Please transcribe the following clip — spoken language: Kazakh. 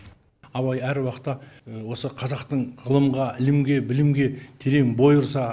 абай әр уақытта осы қазақтың ғылымға ілімге білімге терең бой ұрса